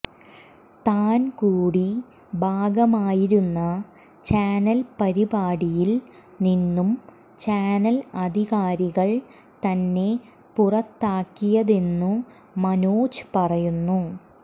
താൻ കൂടി ഭാഗമായിരുന്ന ചാനൽ പരിപാടിയിൽ നിന്നും ചാനൽ അധികാരികൾ തന്നെ പുറത്താക്കിയതെന്നു മനോജ് പറയുന്നു